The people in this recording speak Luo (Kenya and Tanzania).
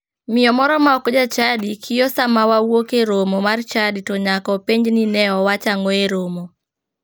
Miyo moro ma ok jachadi kiyo saa ma wawuok e romo mar chadi to nyaka openj ni ne owach ang'o e romo.